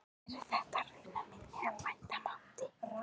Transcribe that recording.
Eru þær raunar minni en vænta mátti.